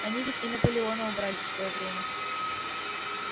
они ведь и наполеона убрали в своё время